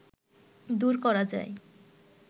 দূর করা যায়